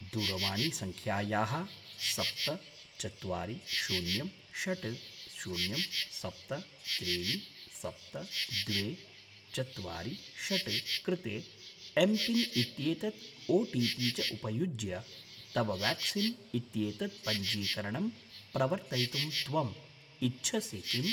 दूरवाणीसङ्ख्यायाः सप्त चत्वारि शून्यं षट् शून्यं सप्त त्रीणि सप्त द्वे चत्वारि षट् कृते एम्पिन् इत्येतत् ओटिपि च उपयुज्य तव व्याक्सीन् इत्येतत् पञ्जीकरणं प्रवर्तयितुं त्वम् इच्छसि किम्?